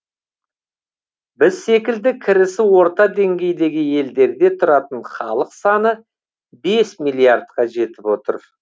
біз секілді кірісі орта деңгейдегі елдерде тұратын халық саны бес миллиардқа жетіп отыр